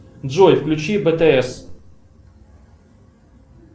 джой включи бтс